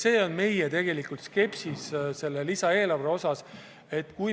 See on tegelikult meie skepsise põhjus selle lisaeelarve puhul.